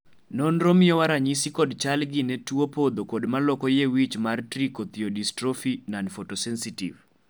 nonro miyowa ranyisi kod chal gi ne tuo podho kod maloko yie wich mar Trichothiodystrophy nonphotosensitive.